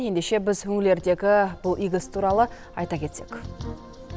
ендеше біз бұл игі іс туралы айта кетсек